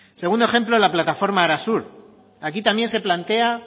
segundo ejemplo la plataforma arasur aquí también se plantea